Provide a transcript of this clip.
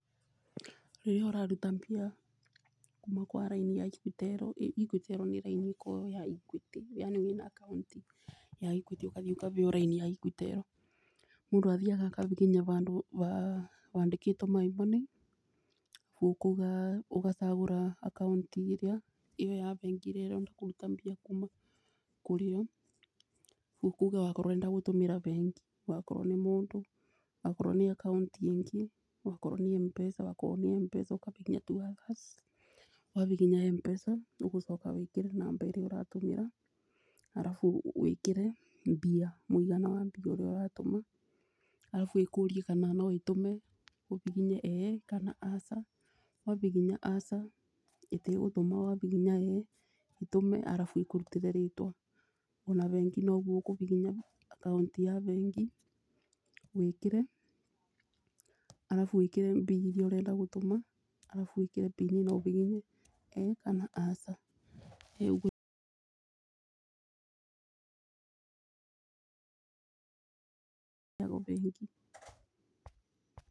Rĩrĩa ũraruta mbia kuma kwa raini ya Equitel, Equitel nĩ raini ĩkoragwo ya Equity yani wĩna akaũnti ya Equity ũkathiĩ ũkabeo raini ya Equitel. Mũndũ athiaga akabibinya bandũ bandĩkĩtwo my nmoney ũkauga ũgacagũra akaũnti ĩrĩa ĩyo ya bengi ĩrĩa ũrenda kũruta mbia kuma kũrĩyo. Ũkauga okorwo ũrenda gũtũmĩra bengi wakorwo nĩ mũndũ, wakorwo nĩ akaũnti ĩngĩ okorwo nĩ M-Pesa wakorwo nĩ M-pesa ũkabibinya tuaci. Wabibinya M-pesa ũgũcoka wĩkĩre namba ĩrĩa ũratũmĩra arabu wĩkĩre mbia mũigana wa mbia iria ũratũma arabu ĩkũrie kana no ĩtũme ũhihinye ĩĩ kana aca. Wabibinya aca ĩtige gũtũma wabibinya ĩĩ ĩtũme arabu ĩkũrutĩre rĩtwa. Ona bengi noguo ũkũbibinya akaũnti ya bengi wĩkĩre arabu wĩkĩre mbia iria ũrenda gũtũma arabu wĩkĩre pini na ũbibinye ĩĩ kana aca rĩu ĩgũthi bengi.